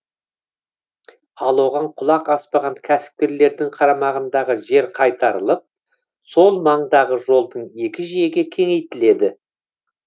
ал оған құлақ аспаған кәсіпкерлердің қарамағындағы жер қайтарылып сол маңдағы жолдың екі жиегі кеңейтіледі